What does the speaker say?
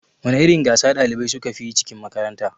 Wana irin gasa ɗalibai sukafi yi cikin makaranta?